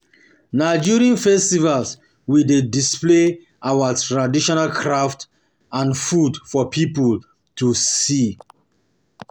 Na during festivals, we dey display our traditional crafts and food for people to see.